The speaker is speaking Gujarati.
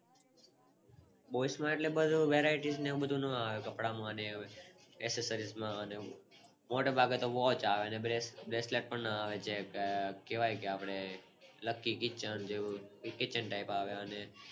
boys માં Variety ને એવું બધું નો આવે કપડાં માં ને Accessories માં મોટે ભાગે તો Watch આવે અને bracelet પણ ન આવે કેવાય કે આપણે લકી kitchen જેવું એ કિચન Type આવે અને